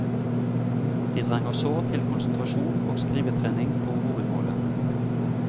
De trenger sårt til konsentrasjon om skrivetrening på hovedmålet.